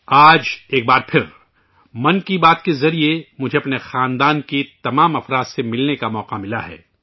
آج ایک بار پھر 'من کی بات' کے ذریعے آپ سبھی کوٹی کوٹی میرے پریوار کے لوگوں سے ملنے کا موقع ملا ہے